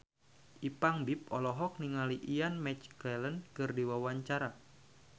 Ipank BIP olohok ningali Ian McKellen keur diwawancara